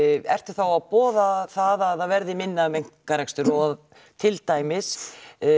ertu þá að boða það að það verði minna um einkarekstur og til dæmis